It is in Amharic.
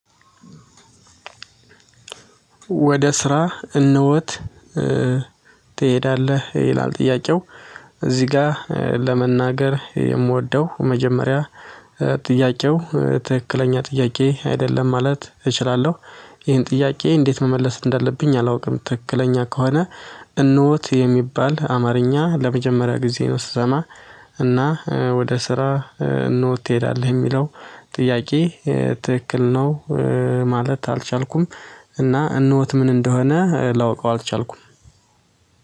ወደ ስራ እንወት ትሄዳለህ ይላል ጥያቄው? እዚህ ጋር ለመናገር የምወደው መጀመሪያ ጥያቄው ትክክለኛ ጥያቄ አይደለም ማለት እችላለሁ። ይህን ጥያቄ እንዴት መመለስ እንዳለብኝ አላውቅም። ትክክለኛ ከሆነ እንወት የሚባል አማርኛ ለመጀመሪያ ጊዜ ነው ስሰማ። እና ወደ ስራ እንወት ትሄዳለህ የሚለው ጥያቄ ትክክል ነው ማለት አልቻልኩም። እና እንወት ምን እንደሆነ ላውቀው አልቻልኩም።